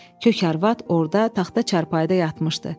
Kök arvad orada taxta çarpayıda yatmışdı.